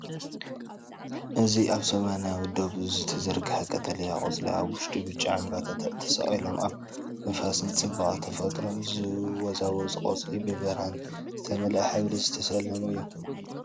እዚ ኣብ ሰማያዊ ዶብ ዝተዘርግሐ ቀጠልያ ቆጽሊ ኣብ ውሽጡ ብጫ ዕምባባታት ተሰቒሎም። ኣብ ንፋስን ጽባቐ ተፈጥሮን ዝወዛወዙ ቆጽሊ፡ ብብርሃን ዝተመልአ ሕብሪ ዝተሰለሙ እዮም።